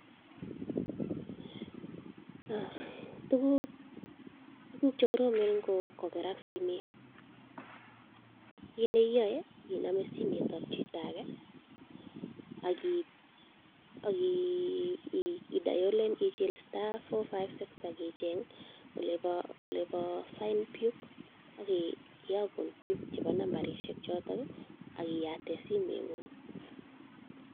Tuguk che koromen ingokerak simet, kit neiyoe inome simetab chito age ak ichil star, four , five, six ak icheng olebo find PUK ak kiyogun PUK chebo nambarishek choto ak iyaten simeng'ung.